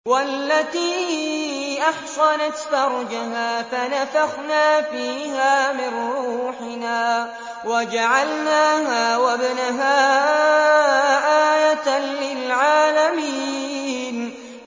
وَالَّتِي أَحْصَنَتْ فَرْجَهَا فَنَفَخْنَا فِيهَا مِن رُّوحِنَا وَجَعَلْنَاهَا وَابْنَهَا آيَةً لِّلْعَالَمِينَ